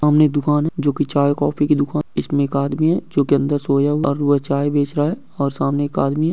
सामने एक दुकान है जो की चाय कोफ़्फ़ी की दुकान है इसमे एक आदमी है जो की सोया हुआ है और वो चाय बेच रहा है और सामने एक आदमी है।